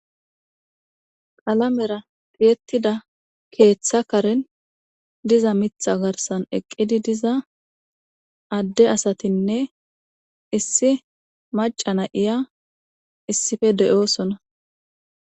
Qalamera tiyettida keeththa karen diza mitha garsan eqqidi diza adde asatinne issi macana iya issife de'oosona.